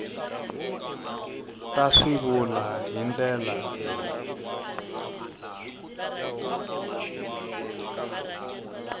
ta swivulwa hi ndlela leyi